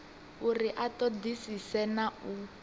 uri a ṱoḓisise na u